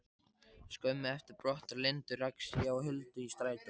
Skömmu eftir brottför Lindu rakst ég á Huldu í strætó.